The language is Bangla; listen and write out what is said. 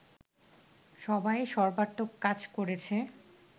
সবাই সর্বাত্মক কাজ করেছে